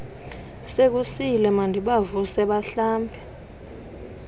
sekusile mandibavuse bahlambe